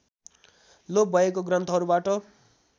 लोप भएको ग्रन्थहरूबाट